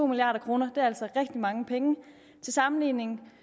milliard kroner er altså rigtig mange penge til sammenligning